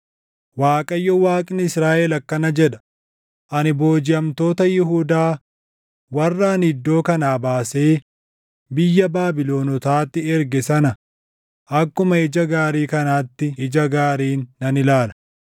“ Waaqayyo Waaqni Israaʼel akkana jedha; ‘Ani boojiʼamtoota Yihuudaa warra ani iddoo kanaa baasee biyya Baabilonotaatti erge sana akkuma ija gaarii kanaatti ija gaariin nan ilaala.